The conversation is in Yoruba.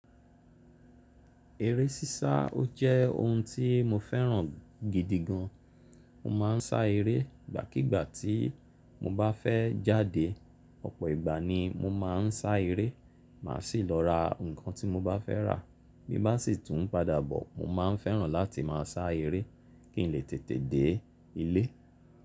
Eré sísá ó jẹ́ ohun tí mo fẹ́ràn gidi gan. Mo ma ń sá eré gbàkígbà tí mo bá fẹ́ jáde. Ọ̀pọ̀ ìgbà ni mo ma ń sá eré, màá si lọ ra nǹkan tí mo bá fẹ́ rà. Bí bá n sì tún padà bọ̀, mo ma ń fẹ́ràn láti máa sá eré kí n lè tètè dé ilé.